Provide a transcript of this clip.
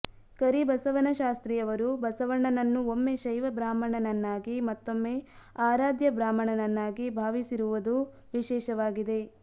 ಕರಿಬಸವಶಾಸ್ತ್ರಿಯವರು ಬಸವಣ್ಣನನ್ನು ಒಮ್ಮೆ ಶೈವ ಬ್ರಾಹ್ಮಣನನ್ನಾಗಿ ಮತ್ತೊಮ್ಮೆ ಆರಾಧ್ಯ ಬ್ರಾಹ್ಮಣನನ್ನಾಗಿ ಭಾವಿಸಿರುವದು ವಿಶೇಷವಾಗಿದೆ